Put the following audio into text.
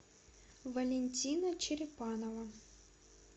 валентина черепанова